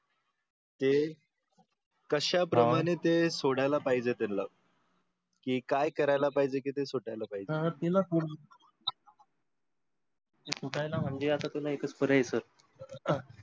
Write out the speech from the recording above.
हे कश्या प्रमाणे ते सोडायला पाहिजे त्यांला? कि काय करायला पाहिजे की ते सुटायला पाहिजे? ते सुटायला आता म्हणजे आता एक च पर्याय आहे sir